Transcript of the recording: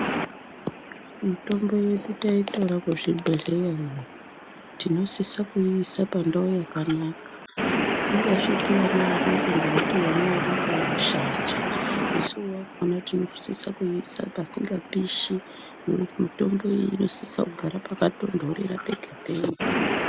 Mitombo yedu taitora kuzvibhedhleya iyo tinosisa kuiisa pandau yakanaka. Isingasviki vana vadoko ngekuti vana vadoko vanoshanja. Isu vakona tinosisa kuiisa pasinga pishi ngekuti mitombo iyi inosisa kugara pakatonhorera pega-pega.